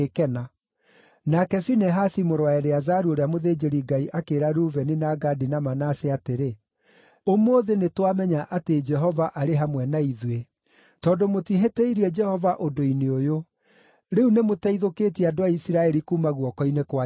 Nake Finehasi mũrũ wa Eleazaru ũrĩa mũthĩnjĩri-Ngai akĩĩra Rubeni, na Gadi, na Manase atĩrĩ, “Ũmũthĩ nĩtwamenya atĩ Jehova arĩ hamwe na ithuĩ, tondũ mũtihĩtĩirie Jehova ũndũ-inĩ ũyũ. Rĩu nĩmũteithũkĩtie andũ a Isiraeli kuuma guoko-inĩ kwa Jehova.”